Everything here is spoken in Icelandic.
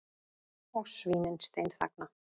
Og svínin steinþagna.